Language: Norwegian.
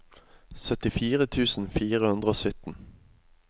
syttifire tusen fire hundre og sytten